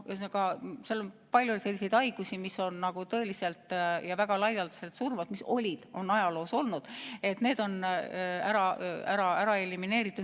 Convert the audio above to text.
Ja on veel palju selliseid haigusi, mis on ajaloo jooksul väga laialdaselt surmavad olnud – need on elimineeritud.